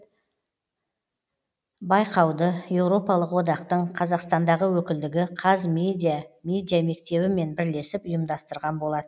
байқауды еуропалық одақтың қазақстандағы өкілдігі қазмедиа медиамектебімен бірлесіп ұйымдастырған болат